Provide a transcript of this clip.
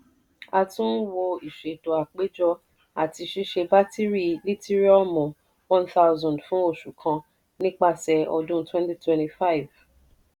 a tún n wo ìṣètò àpéjọ àti ṣíṣe bátìrì lítìriọmu one thousand fún oṣù kan nípasẹ̀ ọdún twenty twenty five.